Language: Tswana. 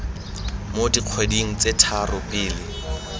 mo dikgweding tse tharo pele